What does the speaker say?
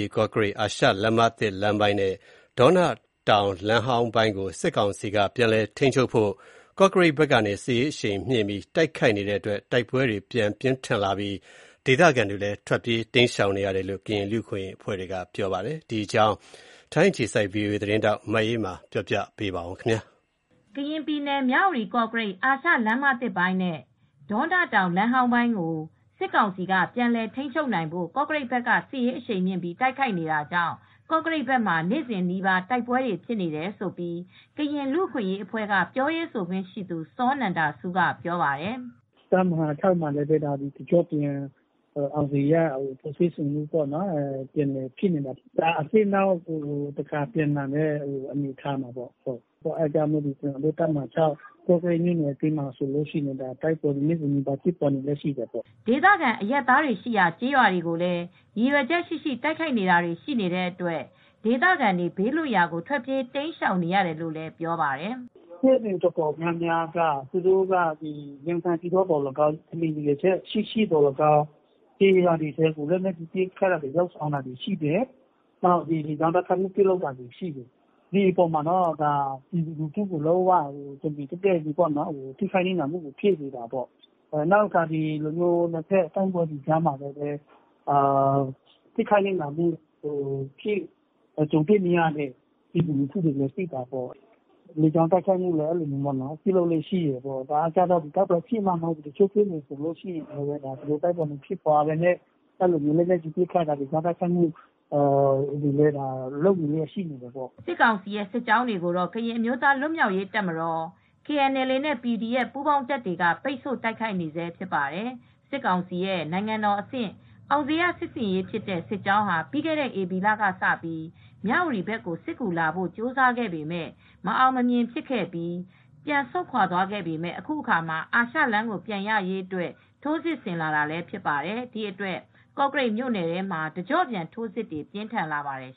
ီ-ကော့ကရိတ် အာရှလမ်းမသစ်လမ်းပိုင်းနဲ့ ဒေါနတောင်လမ်းဟောင်းပိုင်းကို စစ်ကောင်စီက ပြန်လည်ထိန်းချုပ်နိုင်ဖို့ ကော့ကရိတ်ဘက်ကနေ စစ်ရေးအရှိန်မြှင့်ပြီး တိုက်ခိုက်နေတဲ့အတွက် တိုက်ပွဲတွေပြန်ဖြစ်လာပြီး ဒေသခံတွေ ထွက်ပြေးတိမ်းရှောင်နေရတယ်လို့ ကရင်လူ့အခွင့်ရေးအဖွဲ့ကပြောပါတယ်။ ဒီအကြောင်း ဗွီအိုအေ သတင်းထောက် မအေးအေးမာက သတင်းပေးပို့ထားပါတယ်။ ကရင်ပြည်နယ်၊ မြဝတီ-ကော့ကရိတ် အာရှလမ်းမသစ်လမ်းပိုင်းနဲ့ ဒေါနတောင်လမ်းဟောင်းပိုင်းကို စစ်ကောင်စီက ပြန်လည်ထိန်းချုပ်နိုင်ဖို့ ကော့ကရိတ် ဘက်က စစ်ရေးအရှိန်မြှင့်ပြီးတိုက်ခိုက်နေတာကြောင့် ကော့ကရိတ်ဘက်မှာ နေ့စဉ်နီးပါးတိုက်ပွဲတွေ ဖြစ်နေတယ်လို့ ကရင်လူ့အခွင့်ရေးအဖွဲ့ ပြောရေးဆိုခွင့်ရှိသူ စောနန္ဒဆူးက ပြောပါတယ်။ "တပ်မဟာ ၆မှာလည်း တကျော့ပြန် အောင်ဇေယျစစ်ဆင်ရေးက ပြန်လည်ဖြစ်နေတာပေါ့။ အဲဒါ အသစ်နောက်တခေါက်ပြန်လာတဲ့ အနေအထားပေါ့။ ဒီအတွက် ကော့ကရိတ်မြို့နယ်ထဲမှာ နေ့စဉ်နီးပါး တိုက်ပွဲတွေက ဖြစ်နေပါတယ်။" ဒေသခံ အရပ်သားတွေရှိရာ ကျေးရွာတွေကိုလည်း ရည်ရွယ်ချက်ရှိရှိ တိုက်ခိုက်တာတွေရှိနေတဲ့အတွက် ဒေသခံတွေ ဘေးလွှတ်ရာကို ထွက်ပြေး တိမ်းရှောင်နေကြရတယ်လို့လည်း ပြောပါတယ်။ "စစ်ဆင်ရေး အတော်များများက သူတို့က က ရည်ရွယ်ချက်ရှိရှိ ကျေးရွာတွေကို ပဲပစ်ခတ်နေတာမျိုး၊ လေကြောင်းတိုက်ခိုက်မှုတွေ လုပ်တာမျိုး။ ဒါက ပြည်သူကိုပဲ တမင်တိုက်ခိုက်တော့ နစ်နာမှုတွေဖြစ်တာပေါ့။ ဒါအပြင်နှစ်ဖက်တိုက်ခိုက်လို့ ထိခိုက်ရတဲ့ လူထုတွေလည်းရှိတာပေါ့။ လေကြောင်းတိုက်ခိုက်မူ့တွေလည်း ရှိတယ်။ တိုက်ပွဲဖြစ်မှ မဟုတ်ဘူး၊ တိုက်ပွဲမဖြစ်ပဲနဲ့လည်း လေကြောင်းတိုက်ခိုက်မှု၊ လက်နက်ကြီးတွေနဲ့ပစ်ခတ်မှုတွေလည်း ရှိတယ်။" စစ်ကောင်စီစစ်ကြောင်းတွေကိုတော့ ကရင်အမျိုးသား လွတ်မြောက်ရေးတပ်မတော်-KNLA နဲ PDF ပူး ပေါင်းတပ်တွေက ပိတ်ဆို့တိုက်ခိုက် နေဆဲဖြစ်ပါတယ်။ စစ်ကောင်စီရဲ့ နိုင်ငံတော်အဆင့် အောင်ဇေယျ စစ်ဆင်ရေးဖြစ်တဲ့ စစ်ကြောင်းဟာ ပြီးခဲ့တဲ့ဧပြီလကစပြီး မြ၀တီဘက်ကို စစ်ကူလာဖို့ ကြိုးစားခဲ့ပေမယ့် မအောင်မမြင် ဖြစ်ခဲ့ပြီး ပြန်ဆုတ်ခွါသွားပေမယ့် အခုတခါ အာရှလမ်းကို ပြန်ရရေးအတွက် ထိုးစစ်ဆင်လာတာလည်း ဖြစ်ပါတယ်။ ဒီအတွက် ကော့ကရိတ်မြို့နယ်ထဲမှာ တကျော့ပြန် ထိုးစစ်တွေ ပြင်းထန်လာပါတယ်